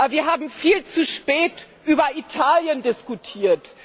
Wir haben viel zu spät über Italien diskutiert.